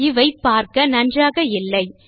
இவை பார்க்க நன்றாக இல்லை